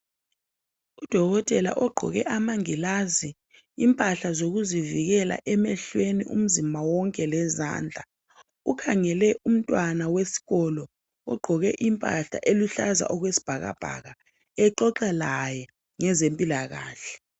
Udokotela ogqoke amangilazi impahla zokuzivikela emehlweni umzimba wonke lezandla ukhangele umntwana wesikolo ogqoke impahla eluhlaza okwesibhakabhaka exoxa laye ngezempilakahle.